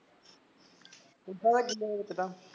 ਉਦਾ ਤਾਂ ਵੇਚਦਾ